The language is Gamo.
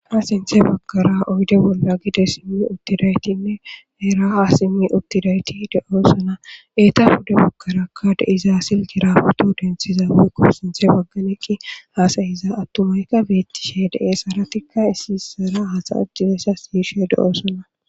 Ha sinthe bagkara oyde bolla gide simmi uttidaytinne eera ha simmi uttidayti de'o suna eeta huda bagkarakka de izaa sil jirafato denthiza wiikqo sinthe bagganeqqi haasayiza attumayka bettishe dee saratikka isissara hasaajjisessa siishe de'osona.